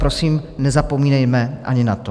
Prosím, nezapomínejme ani na to.